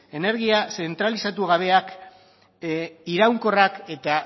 energia zentralizatu gabeak iraunkorrak eta